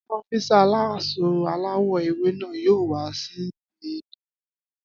Ọ́físà aláṣọ aláwọ̀ ewé náà yóò wá síbí ní òní